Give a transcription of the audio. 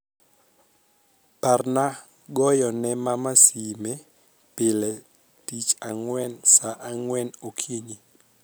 parna goyone mama sime pile tich angwen saa angwen okinyi